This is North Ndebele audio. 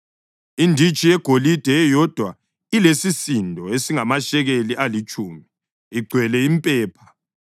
inditshi yegolide eyodwa elesisindo esingamashekeli alitshumi, igcwele impepha;